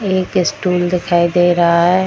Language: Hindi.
एक स्टूल दिखाई दे रहा है।